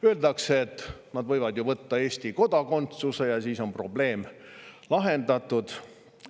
Öeldakse, et nad võivad ju võtta Eesti kodakondsuse ja siis on probleem lahendatud.